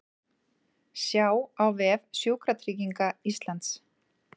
Sjá á vef Sjúkratrygginga Íslands